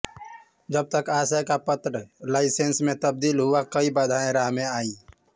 जब तक आशय का पत्र लाइसेंस में तब्दील हुआ कई बाधाएं राह में आयीं